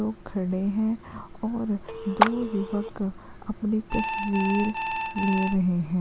लोग खड़े हैं और दो युवक अपनी तस्वीर ले रहे हैं।